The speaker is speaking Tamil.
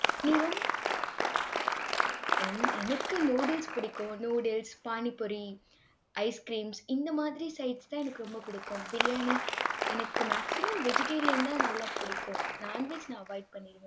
என் எனக்கு noodles பிடிக்கும். noodles, pani puri, ice creams இந்த மாதிரி sides தான் எனக்கு ரொம்ப பிடிக்கும். biryani எனக்கு maximum vegetarian தான் நல்லா பிடிக்கும். non veg நான் avoid பண்ணிடுவேன்